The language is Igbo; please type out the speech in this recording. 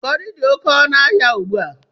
Kọrị dị oké ọnụ ahịa ugbu a.